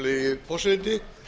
virðulegi forseti